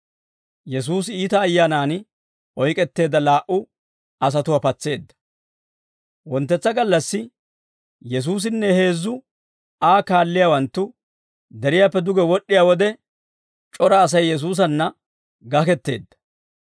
Wonttetsa gallassi, Yesuusinne heezzu Aa kaalliyaawanttu deriyaappe duge wod'd'iyaa wode, c'ora Asay Yesuusanna gaketteedda.